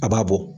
A b'a bɔ